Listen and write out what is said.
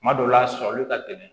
Kuma dɔw la a sɔrɔli ka gɛlɛn